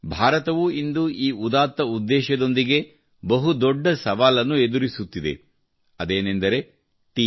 ಭಾರತವೂ ಇಂದು ಈ ಉದಾತ್ತ ಉದ್ದೇಶದೊಂದಿಗೆ ಬಹು ದೊಡ್ಡ ಸವಾಲನ್ನು ಎದುರಿಸುತ್ತಿದೆ ಅದೇನೆಂದರೆ ಟಿ